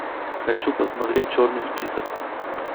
хочу посмотреть черный список